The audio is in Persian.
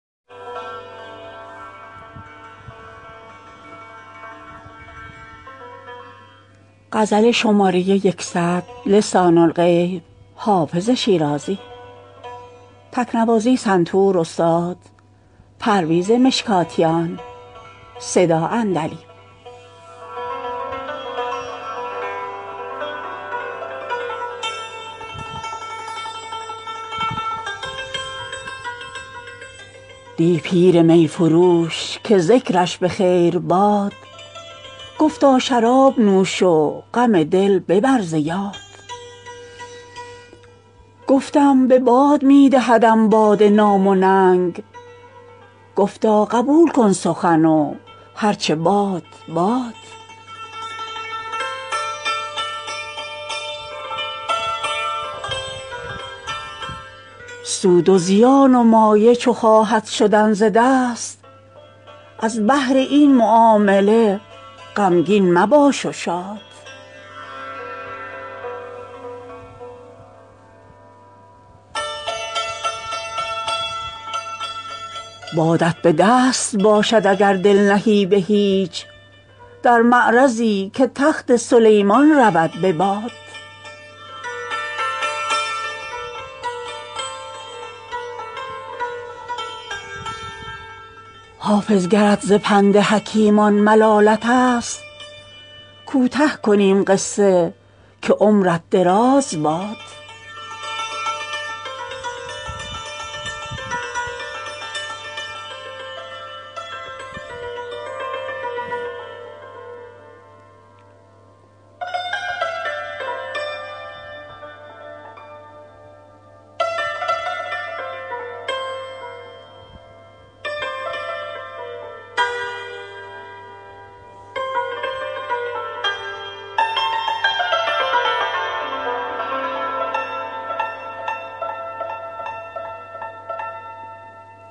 دی پیر می فروش که ذکرش به خیر باد گفتا شراب نوش و غم دل ببر ز یاد گفتم به باد می دهدم باده نام و ننگ گفتا قبول کن سخن و هر چه باد باد سود و زیان و مایه چو خواهد شدن ز دست از بهر این معامله غمگین مباش و شاد بادت به دست باشد اگر دل نهی به هیچ در معرضی که تخت سلیمان رود به باد حافظ گرت ز پند حکیمان ملالت است کوته کنیم قصه که عمرت دراز باد